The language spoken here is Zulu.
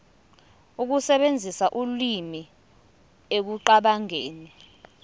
ukusebenzisa ulimi ekucabangeni